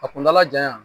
A kuntala janya